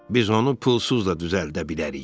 Biz onu pulsuz da düzəldə bilərik.